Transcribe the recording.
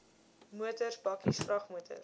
motors bakkies vragmotors